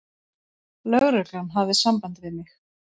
Lögreglan hafði samband við mig.